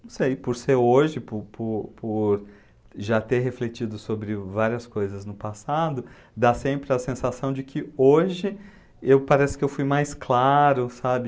Não sei, por ser hoje, por por por já ter refletido sobre várias coisas no passado, dá sempre a sensação de que hoje eu pareço que eu fui mais claro, sabe?